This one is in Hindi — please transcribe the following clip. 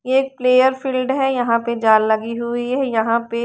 ये एक प्लेयर फील्ड है यहां पे जल लगी हुई है यहां पे --